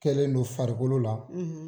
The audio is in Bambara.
Kɛlen don farikolo la, .